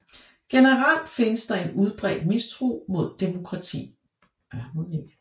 Generelt fandtes der en udbredt mistro mod demokrati